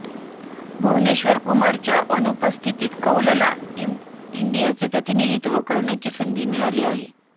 भुवनेश्वर कुमारच्या अनुपस्थितीत कौलला टीम इंडियाचे प्रतिनिधित्व करण्याची संधी मिळाली आहे